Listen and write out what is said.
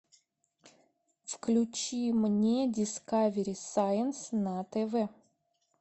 включи мне дискавери сайнс на тв